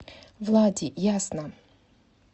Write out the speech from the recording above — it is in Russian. влади ясно